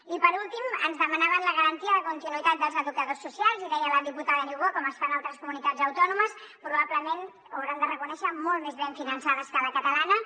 i per últim ens demanaven la garantia de continuïtat dels educadors socials i deia la diputada niubó com es fa en altres comunitats autònomes probablement ho hauran de reconèixer molt més ben finançades que la catalana